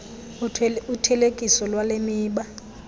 uthelekiso lwale miba